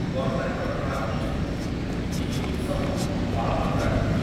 corona କଟକଣା ଅନୁଯାୟୀ ଏହି ଉତ୍ସବ ପାଳନ କରାଯିବ